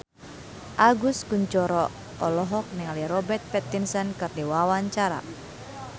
Agus Kuncoro olohok ningali Robert Pattinson keur diwawancara